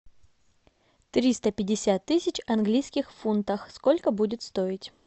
триста пятьдесят тысяч английских фунтов сколько будет стоить